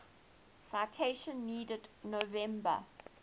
citation needed november